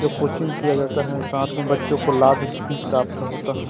जो कोचिंग किया जाता है साथ में बच्चों को लाभ भी प्राप्त होता है।